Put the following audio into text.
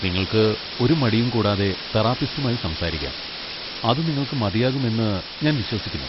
നിങ്ങൾക്ക് ഒരു മടിയും കൂടാതെ തെറാപ്പിസ്റ്റുമായി സംസാരിക്കാം, അത് നിങ്ങൾക്ക് മതിയാകും എന്ന് ഞാൻ വിശ്വസിക്കുന്നു.